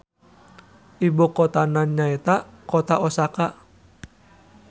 Ibukotana nyaeta Kota Osaka.